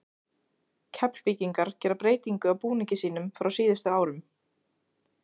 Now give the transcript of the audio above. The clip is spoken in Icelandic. Keflvíkingar gera breytingu á búningi sínum frá síðustu árum.